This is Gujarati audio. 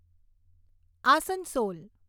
આસનસોલ